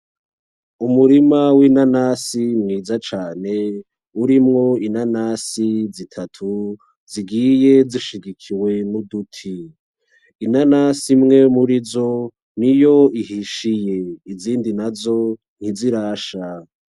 Umurima winanasi nziza cane urimo inanasi zitatu zigiye zishigikiwe nuduti inanasi imwe murizo niyo ihishiye izindi nazo ntizirasha.